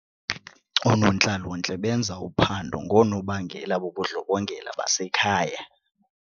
Oonontlalontle benza uphando ngoonobangela bobundlobongela basekhaya.